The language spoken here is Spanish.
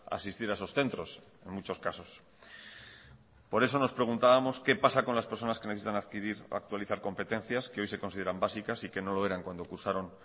asistir a esos centros en muchos casos por eso nos preguntábamos qué pasa con las personas que necesitan adquirir o actualizar competencias que hoy se consideran básicas y que no lo eran cuando cursaron